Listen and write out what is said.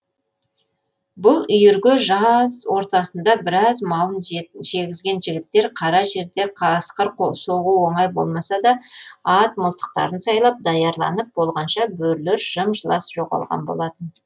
бұл үйірге жаз ортасында біраз малын жегізген жігіттер қара жерде қасқыр соғу оңай болмаса да ат мылтықтарын сайлап даярланып болғанша бөрілер жым жылас жоғалған болатын